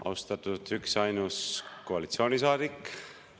Austatud üksainus koalitsioonisaadik!